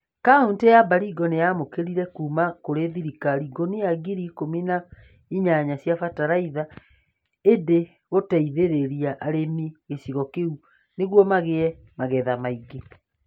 Kauntĩ ya Baringo nĩ yamũkĩrire kuuma kũrĩ thirikari ngunia ngiri ikumi na inyanya cia bataraitha. Ĩndĩ gũteithĩrĩria arĩmi a gĩcigo kĩu nĩguo magĩe na magetha maingĩ.